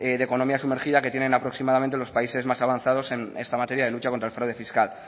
de economía sumergida que tienen aproximadamente los países más avanzados en esta materia de lucha contra el fraude fiscal